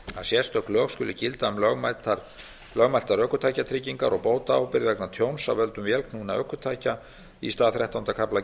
sérstök lög skulu gilda um lögmæltar ökutækjatryggingar og bótaábyrgð vegna tjóns af völdum vélknúinna ökutækja í stað þrettánda kafla